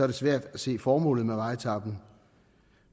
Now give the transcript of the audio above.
det svært at se formålet med vejetapen